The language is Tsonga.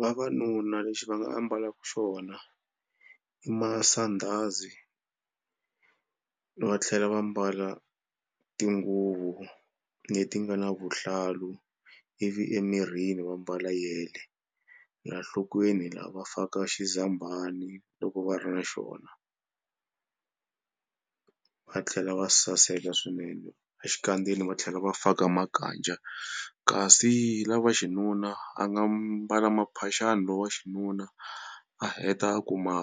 Vavanuna lexi va nga ambalaka xona i masandhazi va tlhela va mbala tinguvu leti nga na vuhlalu ivi emirini va mbala yele. La nhlokweni la va faka loko va ri na xona va tlhela va saseka swinene. A xikandzeni va tlhela va faka makaja kasi lava xinuna a nga mbala maphaxani lowa xinuna a heta a ku ma